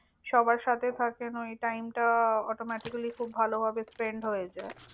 সবার সাথে থাকলে না ওই time টা automatically খুব ভালোভাবে spend হয়ে যায়।